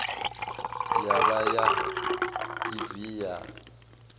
ya vha ya evee ya